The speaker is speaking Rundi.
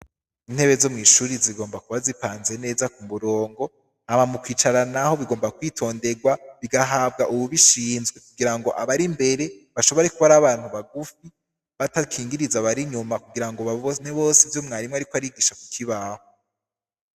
Intebe zo mw'ishure zigomba kuba zipanze neza ku murongo hama mu kwicara naho bigomba kwitonderwa bigahabwa uwubishinzwe kugirango abari imbere bashobore kuba ari abantu bagufi batakingiriza abari inyuma kugirango babone bose ivyo mwarimu ariko arigisha ku kibaho.